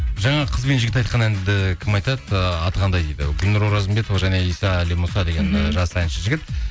жаңағы қыз бен жігіт айтқан әнді кім айтады ы аты қандай дейді гүлнұр оразымбетова және иса алимұса деген жас әнші жігіт